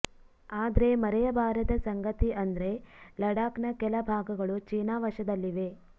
ಆದ್ರೆ ಮರೆಯಬಾರದ ಸಂಗತಿ ಅಂದ್ರೆ ಲಡಾಕ್ನ ಕೆಲ ಭಾಗಗಳು ಚೀನಾ ವಶದಲ್ಲಿವೆ